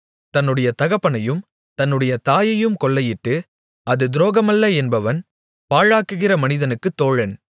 தன்னுடைய தகப்பனையும் தன்னுடைய தாயையும் கொள்ளையிட்டு அது துரோகமல்ல என்பவன் பாழாக்குகிற மனிதனுக்குத் தோழன்